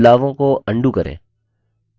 बदलावों को undo करें